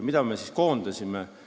Keda me siis koondasime?